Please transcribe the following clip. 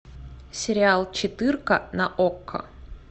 сериал четырка на окко